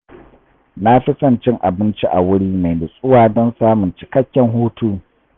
Na fi son cin abinci a wuri mai nutsuwa don samun cikakken hutu.